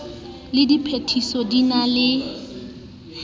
le phethiso di na le